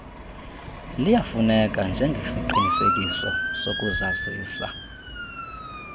liyafuneka njengesiqinisekiso sokuzazisa